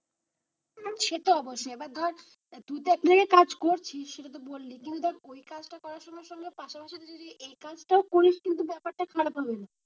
সে তো অবশ্যই এবার ধর তুই একটা জায়গায় কাজ করছিস সেটা তো বললি কিন্তু ধরে ওই কাজ তা করার সঙ্গে সঙ্গে পাশাপাশিতে যদি এই কাজটাও যদি করিস কিন্তু বেপারটা খারাপ হবে না,